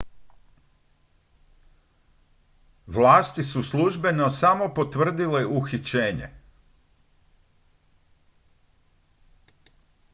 vlasti su službeno samo potvrdile uhićenje